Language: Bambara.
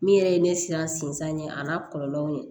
Min yɛrɛ ye ne siran sinzan ye a n'a kɔlɔlɔw ye